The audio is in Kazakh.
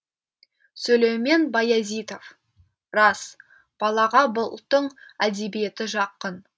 сүлеймен баязитов рас балаға ұлттың әдебиеті жақын